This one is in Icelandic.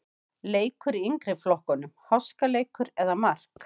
Leikur í yngri flokkunum-Háskaleikur eða mark?